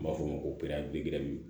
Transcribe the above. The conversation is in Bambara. N b'a f'o ma ko